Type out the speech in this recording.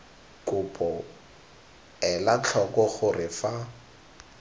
kopo ela tlhoko gore fa